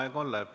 Aeg on läbi.